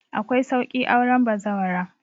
Akwai sauƙi auren bazawara